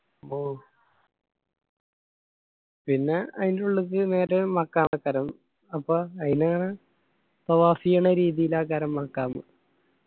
ഓ പിന്ന അയിന്റുള്ളിക്ക് നേരെ മഖാമ് അപ്പൊ അയിന് ത്വവാഫെയ്‌യണ രീതിയില്